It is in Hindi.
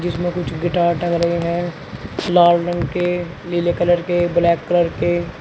जिसमें कुछ गिटार टंग रही हैं लाल रंग के नीले कलर के ब्लैक कलर के।